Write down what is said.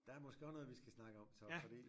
Der er måske også noget vi skal snakke om så fordi